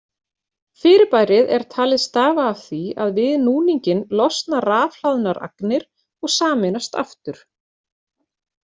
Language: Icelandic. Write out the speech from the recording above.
Fyrirbærið er talið stafa af því að við núninginn losna rafhlaðnar agnir og sameinast aftur.